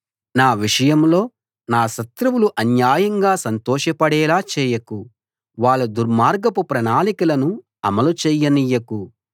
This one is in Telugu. నా విషయంలో నా శత్రువులు అన్యాయంగా సంతోష పడేలా చేయకు వాళ్ళ దుర్మార్గపు ప్రణాళికలను అమలు చెయ్యనీయకు